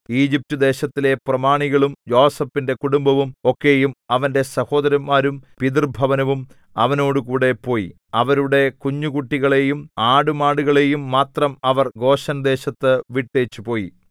ഈജിപ്റ്റുദേശത്തിലെ പ്രമാണികളും യോസേഫിന്റെ കുടുംബം ഒക്കെയും അവന്റെ സഹോദരന്മാരും പിതൃഭവനവും അവനോടുകൂടെ പോയി അവരുടെ കുഞ്ഞുകുട്ടികളെയും ആടുമാടുകളെയും മാത്രം അവർ ഗോശെൻദേശത്തു വിട്ടേച്ചു പോയി